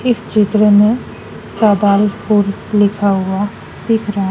इस चित्र में सेदालपुर लिखा हुआ दिख रहा--